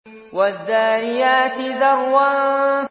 وَالذَّارِيَاتِ ذَرْوًا